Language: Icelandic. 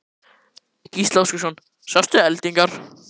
Gísli Óskarsson: Sástu eldingar?